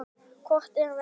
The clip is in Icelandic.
Hvort er verra?